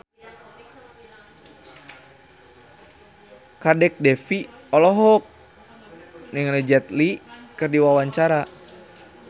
Kadek Devi olohok ningali Jet Li keur diwawancara